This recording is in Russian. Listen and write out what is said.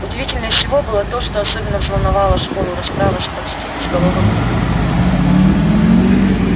удивительнее всего было то что особенно взволновала школу расправа с почти безголовым ником